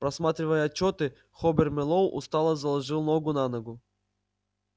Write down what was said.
просматривая отчёты хобер мэллоу устало заложил ногу за ногу